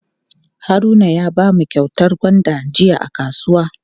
Haruna ya bamu kyautar gwanda jiya a kasuwa.